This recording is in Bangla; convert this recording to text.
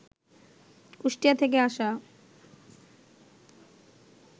কুষ্টিয়া থেকে আসা